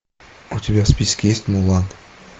у тебя в списке есть мулан